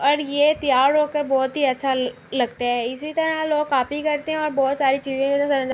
اور یہ تیار ہوکر بہت ہی اچھا لگتا ہے۔ اسی طرح لوگ کاپی کرتے ہے --